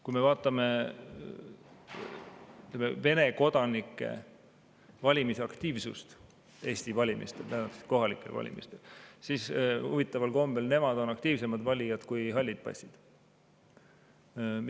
Kui me vaatame Vene kodanike valimisaktiivsust Eesti valimistel, kohalikel valimistel, siis huvitaval kombel nemad on aktiivsemad valijad kui halli passi omanikud.